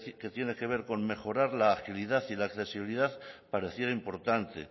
que tiene que ver con mejorar la agilidad y la accesibilidad pareciera importante